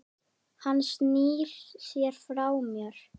Hann snýr sér frá mér.